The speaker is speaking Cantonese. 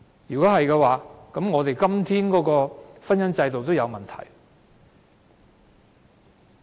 若然如此，我們現今的婚姻制度也有問題。